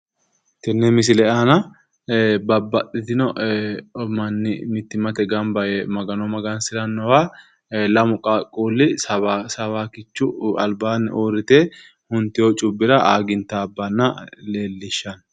Tenne misile aana babbaxxitino manni mittimmate gamba yee magano magansirannowa lamu qaaqquulli sawaakichu albaanni uurrite hunetyo cubbira aaagintaabbanna leellishshanno